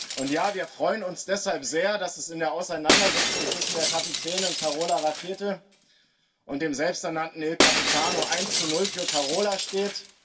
Und ja, wir freuen uns deshalb sehr, dass es in der Auseinandersetzung zwischen der Kapitänin Carola Rackete und dem selbsternannten Il Capitano eins zu null für Carola steht.